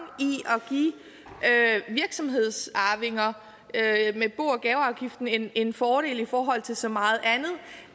i at give virksomhedsarvinger med bo og gaveafgiften en en fordel i forhold til så meget andet